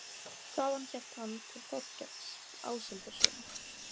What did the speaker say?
Þaðan hélt hann til Þórkels Áshildarsonar.